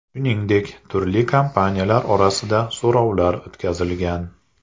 Shuningdek, turli kompaniyalar orasida so‘rovlar o‘tkazilgan.